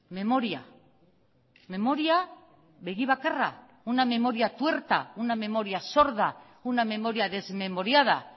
memoria memoria begi bakarra una memoria tuerta una memoria sorda una memoria desmemoriada